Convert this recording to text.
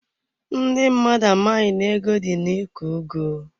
Ndị mmadụ amaghị na ego dị na iko ugu.